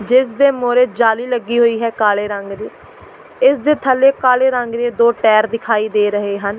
ਜਿਸ ਦੇ ਮੂਹਰੇ ਜਾਲੀ ਲੱਗੀ ਹੋਈ ਹੈ ਕਾਲੇ ਰੰਗ ਦੀ ਇਸ ਦੇ ਥੱਲੇ ਕਾਲੇ ਰੰਗ ਦੇ ਦੋ ਟਾਇਰ ਦਿਖਾਈ ਦੇ ਰਹੇ ਹਨ।